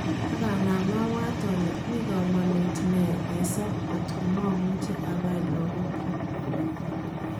Akanam abwat ole mikomonut ne kesob kotko momuche abai lagok kyuk.